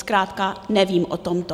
Zkrátka nevím o tomto.